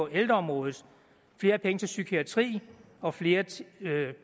ældreområdet flere penge til psykiatri og flere